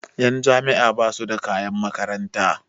Ƴan jami'a basu da kayan makaranta